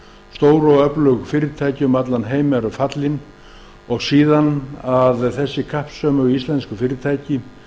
stór og öflug fyrirtæki um allan heim eru fallnir síðan féllu hin kappsömu íslensku fyrirtæki